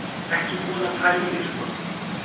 Ekki búin að pæla í því sko.